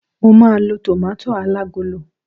mo ma lo tomato alagolo